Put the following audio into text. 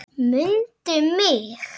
MUNDU MIG!